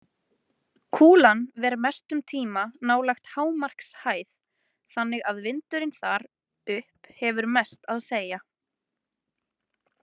Kúlan ver mestum tíma nálægt hámarkshæð þannig að vindurinn þar upp hefur mest að segja.